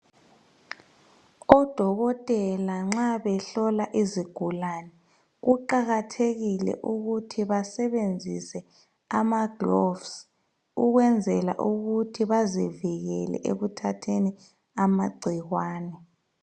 Odokotela nxa behlola izigulane kuqakathekile ukuthi basebenzise ama"gloves " ukwenzela ukuthi bazivikele ekuthatheni amagcikwane.